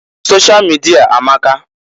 Sosha mịdịa amaka.